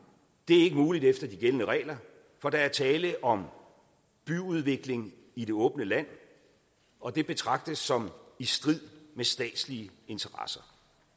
er ikke muligt efter de gældende regler for der er tale om byudvikling i det åbne land og det betragtes som i strid med statslige interesser